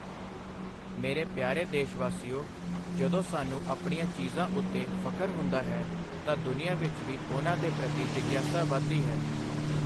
ਮੇਰੇ ਪਿਆਰੇ ਦੇਸ਼ਵਾਸੀਓ, ਜਦੋਂ ਸਾਨੂੰ ਆਪਣੀਆਂ ਚੀਜ਼ਾਂ ਉੱਤੇ ਫਖ਼ਰ ਹੁੰਦਾ ਹੈ ਤਾਂ ਦੁਨੀਆਂ ਵਿੱਚ ਵੀ ਉਨ੍ਹਾਂ ਦੇ ਪ੍ਰਤੀ ਜਿਗਿਆਸਾ ਵਧਦੀ ਹੈ।